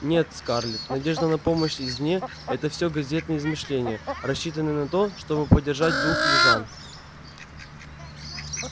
нет скарлетт надежда на помощь извне это всё газетные измышления рассчитанные на то чтобы поддержать дух южан